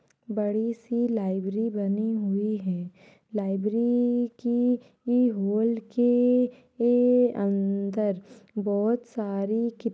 बड़ी सी लाइबरी बनी हुई है। लाइब्री की ई होल के ए अंदर बहोत सारी कि --